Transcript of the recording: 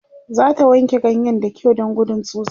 zata wanke ganyen da kyau Dan gudun tsutsa